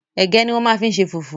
Ẹ̀gẹ́ ní wọ́n máa ń fi ṣe fùfú